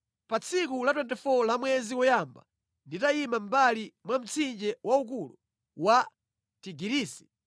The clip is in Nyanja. Pa tsiku la 24 la mwezi woyamba, nditayima mʼmbali mwa mtsinje waukulu wa Tigirisi,